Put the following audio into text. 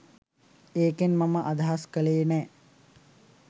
ඒකෙන් මම අදහස් කලේ නෑ